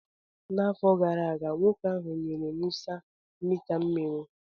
N'afọ gara aga, nwoke ahụ nyere Musa mita mmiri